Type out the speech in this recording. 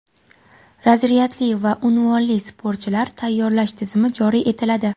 razryadli va unvonli sportchilar tayyorlash tizimi joriy etiladi.